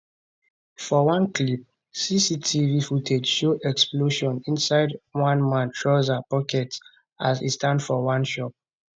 for one clip cctv footage show explosion inside one man trouser pocket as e stand for one shop